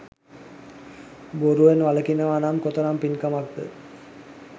බොරුවෙන් වළකිනවනම් කොතරම් පින්කමක්ද?